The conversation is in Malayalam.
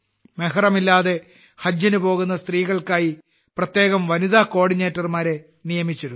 മെഹ്റമില്ലാതെ ഹജ്ജിന് പോകുന്ന സ്ത്രീകൾക്കായി പ്രത്യേകം വനിതാ കോഓർഡിനേറ്റർമാരെ നിയമിച്ചിരുന്നു